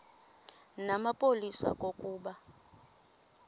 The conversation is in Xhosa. namapolisa phambi kokuba